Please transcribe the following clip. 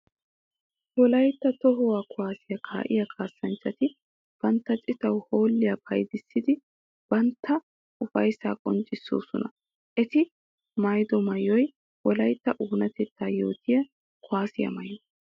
Wolaytta toho kuwaasiya kaa'iya kaassanchchatti bantta citawu hoolliya payddissiddi bantta ufayssa qonccisossonna. Etti maayido maayoy wolaytta oonatetta yootiya kuwaasiyaa maayo.